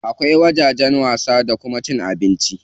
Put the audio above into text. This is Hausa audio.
Akwai wajen wasa da wajen cin abinci.